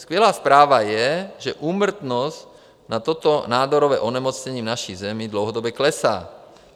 Skvělá zpráva je, že úmrtnost na toto nádorové onemocnění v naší zemi dlouhodobě klesá.